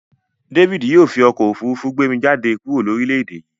David yio fi okó òfurufú gbé mi jáde kúrò lórílèdè yí